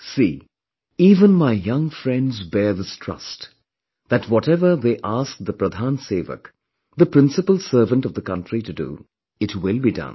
See... even my young friends bear this trust that whatever they ask the Pradhan Sevak, the principal servant of the country to do; it will be done